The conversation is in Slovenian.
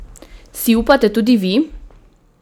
Si upate tudi vi?